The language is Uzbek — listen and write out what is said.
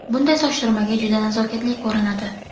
Bunday soch turmagi juda nazokatli ko‘rinadi!